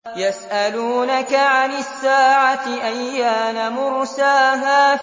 يَسْأَلُونَكَ عَنِ السَّاعَةِ أَيَّانَ مُرْسَاهَا